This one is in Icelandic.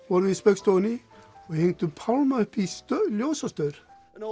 vorum við í Spaugstofunni og hittum Pálma uppi í ljósastaur